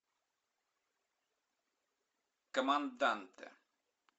команданте